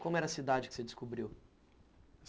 Como era a cidade que você descobriu?